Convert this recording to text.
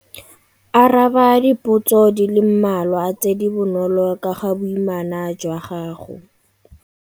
Araba dipotso di le mmalwa tse di bonolo ka ga boimana jwa gago.